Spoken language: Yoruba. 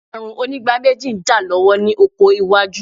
Ààrùn onígbáméjì ń jà lọ́wọ́ ní oko wájú.